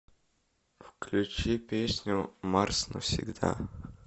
включи песню марс навсегда